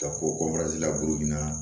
Ka ko